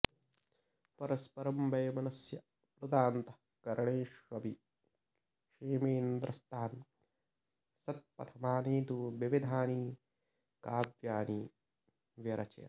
परस्परं वैमनस्याप्लुतान्तः करणेष्वपि क्षेमेन्द्रस्तान् सत्पथमानेतुं विविधानि काव्यानि व्यरचयत्